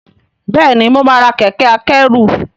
bẹẹni mọ má rà Kẹ̀kẹ́ akẹ́rù.